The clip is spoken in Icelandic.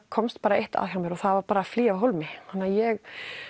komst bara eitt að hjá mér og það var að flýja af hólmi þannig að ég